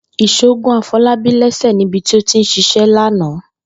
Ìs̩ó gún Afo̩lábí lé̩sè̩ níbi tí ó ti ń s̩is̩é̩ lánàá